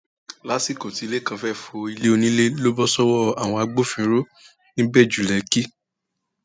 lásìkò tí lẹkan fẹẹ fọlẹ onílẹ ló bọ sọwọ àwọn agbófinró nìbẹjúlẹkẹ